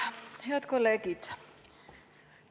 Head kolleegid!